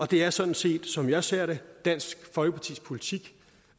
det er sådan set som jeg ser det dansk folkepartis politik